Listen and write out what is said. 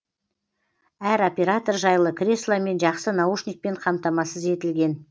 әр оператор жайлы кресло мен жақсы наушникпен қамтамасыз етілген